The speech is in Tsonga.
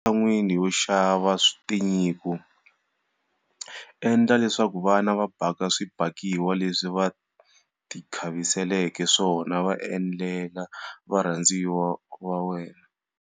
Ematshan'weni yo xava tinyiko, endla leswaku vana va baka swibakiwani leswi va tikhaviseleke swona va endlela varhandziwa va wena.